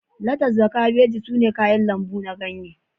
Letas da kabeji sune kayan lambu na ganye